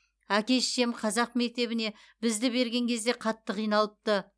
әке шешем қазақ мектебіне бізді берген кезде қатты қиналыпты